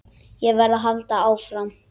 Ég verð að halda áfram.